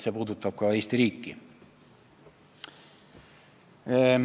See puudutab ka Eesti riiki.